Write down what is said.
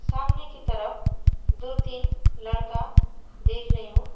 सामने की तरफ दो तीन लड़का देख रही हूं।